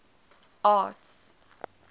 arts